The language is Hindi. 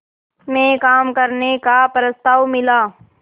में काम करने का प्रस्ताव मिला